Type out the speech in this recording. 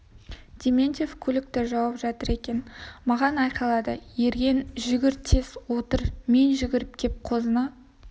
дементьев көлікті жауып жатыр екен маған айқайлады ерген жүгір тез отыр мен жүгіріп кеп қозыны